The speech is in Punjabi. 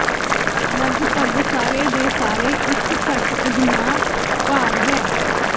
ਲਗਭਗ ਸਾਰੇ ਦੇ ਸਾਰੇ ਇੱਕ ਘੱਟ ਅਜਮਾ ਭਾਰ ਹੈ